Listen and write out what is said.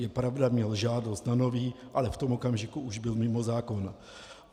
Je pravda, měl žádost o nový, ale v tom okamžiku už byl mimo zákon.